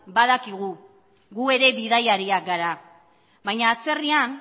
badakigu gu ere bidaiariak gara baina atzerrian